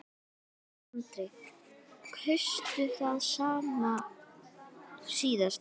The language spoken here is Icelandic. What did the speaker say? Andri: Kaustu það sama síðast?